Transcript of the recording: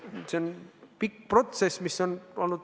See on pikk protsess.